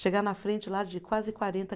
Chegar na frente lá de quase quarenta